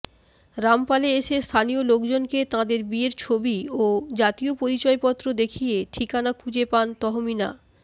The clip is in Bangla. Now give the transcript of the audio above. রামপালে এসে স্থানীয় লোকজনকে তাঁদের বিয়ের ছবি ও জাতীয় পরিচয়পত্র দেখিয়ে ঠিকানা খুঁজে পান তহমিনা